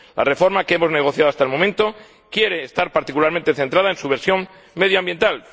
La reforma que hemos negociado hasta el momento quiere estar particularmente centrada en su versión medioambiental.